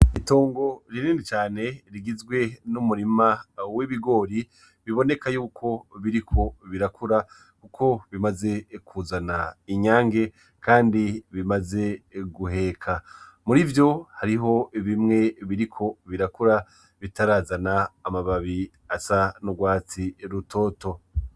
Itongo rinini cane rigizwe n'umurima w'ibigori biboneka yuko biriko birakura kuko bimaze kuzana inyange kandi bimaze guheka, murivyo hariho bimwe biriko birakura bitarazana amababi asa n'urwatsi rutoto.